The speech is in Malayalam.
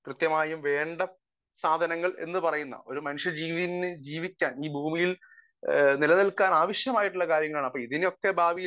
സ്പീക്കർ 1 കൃത്യമായും വേണ്ട സാധനങ്ങൾ എന്ന് പറയുന്ന ഒരു മനുഷ്യ ജീവന് ജീവിക്കാൻ ഈ ഭൂമിയിൽ നിലനിൽക്കാൻ ആവശ്യമായിട്ടുള്ള കാര്യമാണ് അപ്പൊ ഇതിനെയൊക്കെ ബാധിക്കുന്ന